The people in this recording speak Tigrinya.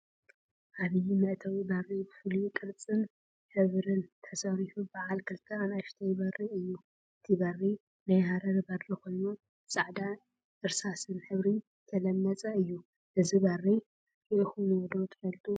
ዓብይ መእተዊ በሪ ብፍሉይ ቅርፂን ሕብሪን ተሰሪሑ በዓል ክልተ አናእሽተይ በሪ እዩ፡፡ እዚ በሪ ናይ ሃረር በሪ ኮይኑ ብፃዕዳን እርሳስ ሕብሪን ዝተለመፀ እዩ፡፡ እዚ በሪ ሪኢኩምዎ ዶ ትፈልጡ?